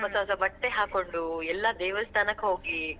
ಹೊಸ ಹೊಸ ಬಟ್ಟೆ ಹಾಕೊಂಡು, ಎಲ್ಲಾ ದೇವಸ್ಥಾನಕ್ ಹೋಗಿ.